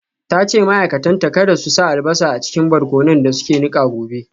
Ta ce ma’aikatanta kada su sa albasa a cikin barkonon da suke nika gobe.